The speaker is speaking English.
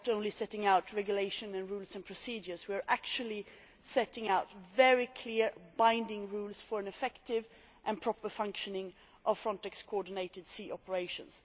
We are not only setting out regulations and rules and procedures we are actually setting out very clear binding rules for an effective and proper functioning of Frontex coordinated sea operations.